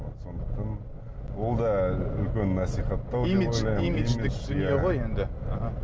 вот сондықтан ол да үлкен насихаттау имидж имидждік дүние ғой енді аха